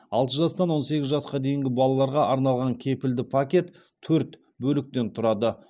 алты жастан он сегіз жасқа дейінгі балаларға арналған кепілді пакет төрт бөліктен тұрады